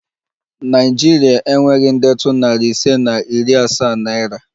Naịjiria enweghị ndetu nari ise na iri asaa naira